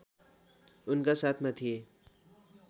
उनका साथमा थिए